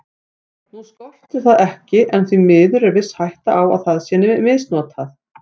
Nú skortir það ekki en því miður er viss hætta á að það sé misnotað.